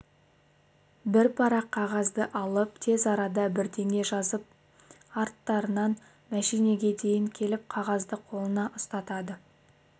бір парақ қағазды алып тез арада бірдеңе жазып арттарынан машинеге дейін келіп қағазды қолына ұстата